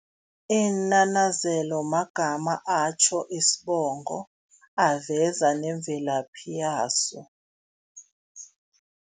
Iinanazelo magama atjho isibongo, aveza nemvelaphi yaso.